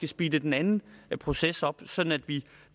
speede den anden proces op sådan at vi